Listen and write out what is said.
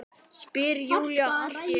spyr Júlía allt í einu.